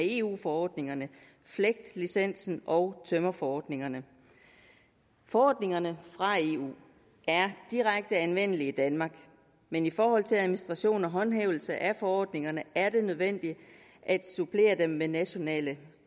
eu forordningerne flegt licensen og tømmerforordningen forordningerne fra eu er direkte anvendelige i danmark men i forhold til administration og håndhævelse af forordningerne er det nødvendigt at supplere dem med nationale